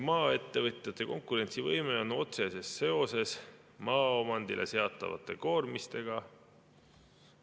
"Maaettevõtjate konkurentsivõime on otseses seoses maaomandile seatavate koormistega.